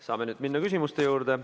Saame nüüd minna küsimuste juurde.